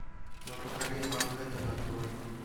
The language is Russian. мы покорим манхэттен открой